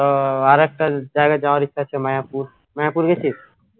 ওহ আরেকটা জায়গা যাওয়ার ইচ্ছা আছে মায়াপুর মায়াপুর গেছিস